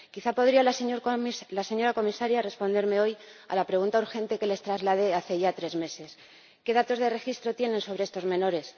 Quizá podría la señora Comisaria responderme hoy a la pregunta urgente que les trasladé hace ya tres meses ¿qué datos de registro tienen sobre estos menores?